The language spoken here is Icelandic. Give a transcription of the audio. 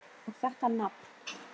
Og þetta nafn!